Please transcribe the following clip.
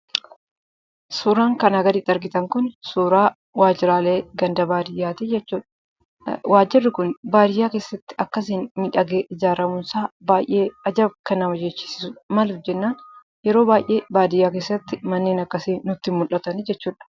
Suuraan kanaa gaditti argitan Kun, suuraa waajiraalee ganda baadiyyaati jechuudha. Waajjirri Kun baadiyyaa keessatti akkasiin miidhagee ijaaramuun isaa baayyee ajab kan nama jechisiisudha, maaliif jennaan, yeroo baayyee baadiyyaa keessatti manneen akkasii nutti hin mul'atanii jechuudha.